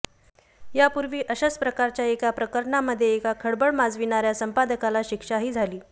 यापूर्वी अशाच प्रकारच्या एका प्रकरणामध्ये एका खळबळ माजविणाऱया संपादकाला शिक्षाही झाली